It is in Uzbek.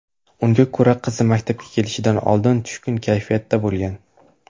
Unga ko‘ra, qizi maktabga kelishidan oldin tushkun kayfiyatda bo‘lgan.